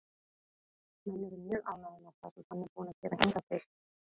Menn eru mjög ánægðir með það sem hann er búinn að gera hingað til.